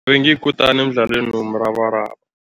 Bengiyikutani emdlalweni womrabaraba.